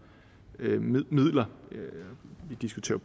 midler vi diskuterer